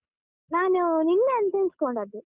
ನಾನು ನಿನ್ನೆ ಅಂತ ಎಣಿಸ್ಕೊಂಡದ್ದು.